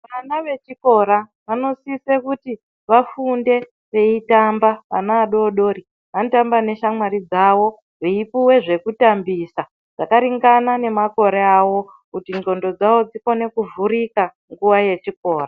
Vana vechikora vanosise kuti vafunde veitamba vana vadodori vanotamba neshamwari dzavo veipuwe zvekutambisa zvakaringana nemakore avo kuti ndxondo dzavo dzikone kuvhurika nguwa yechikora.